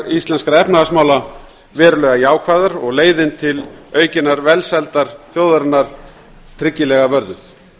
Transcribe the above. íslenskra efnahagsmála verulega jákvæðar og leiðin til aukinnar velsældar þjóðarinnar tryggilega vörðuð